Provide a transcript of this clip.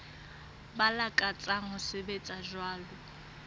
ba lakatsang ho sebetsa jwalo